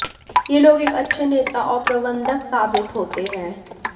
ये लोग एक अच्छे नेता और प्रबंधक साबित होते हैं